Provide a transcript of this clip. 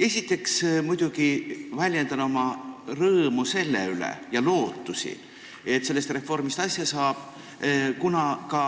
Esiteks väljendan muidugi lootust, et sellest reformist asja saab, ja oma rõõmu selle üle, kuna ka